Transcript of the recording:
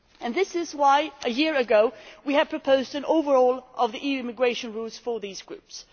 This is why, a year ago, we proposed an overhaul of the EU immigration rules for these groups.